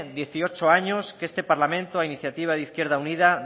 dieciocho años que este parlamento a iniciativa de izquierda unida